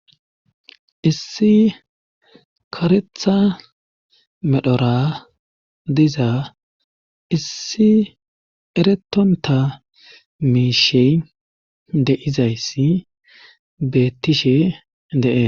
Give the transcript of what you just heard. Issi karetha medhora diza issi eretonta miishey deizayssi beettishe de'e.